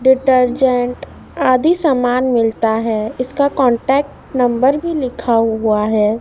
Detergent आदि सामान मिलता है इसका कॉन्टैक्ट नंबर भी लिखा हुआ है।